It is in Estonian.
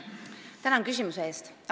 Tänan küsimuse eest!